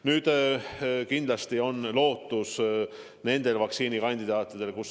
Nüüd, kindlasti on lootus uutel vaktsiinikandidaatidel.